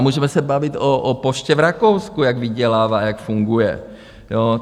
A můžeme se bavit o poště v Rakousku, jak vydělává, jak funguje.